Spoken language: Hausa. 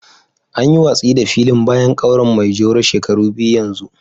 An yi watsi da filin bayan kauyen maijoro shekaru biyu yanzu